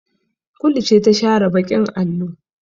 Kulu ce ta share baƙin allo.